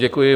Děkuji.